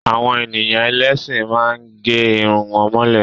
Àwọn ènìyàn ẹlẹ́sìn má ń gẹ́ Irun wọn mọ́lẹ̀